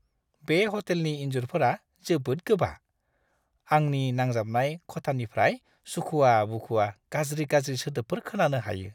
बे ह'टेलनि इनजुरफोरा जोबोद गोबा, आंनि नांजाबनाय खथानिफ्राय सुखुवा-बुखुवा गाज्रि-गाज्रि सोदोबफोर खोनानो हायो!